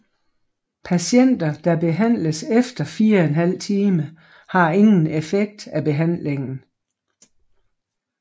Patienter der behandles efter 4½ time har ingen effekt af behandlingen